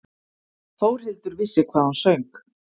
Þórhildur vissi hvað hún söng.